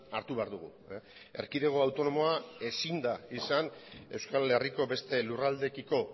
hartu behar dugu erkidego autonomoa ezin da izan euskal herriko beste lurraldeekiko